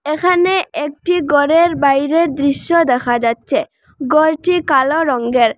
এখানে একটি ঘরের বাইরের দৃশ্য দেখা যাচ্ছে ঘর যে কালো রঙ্গের ।